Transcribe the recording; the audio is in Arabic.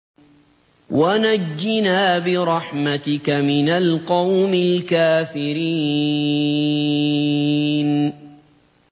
وَنَجِّنَا بِرَحْمَتِكَ مِنَ الْقَوْمِ الْكَافِرِينَ